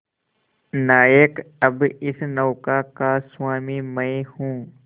नायक अब इस नौका का स्वामी मैं हूं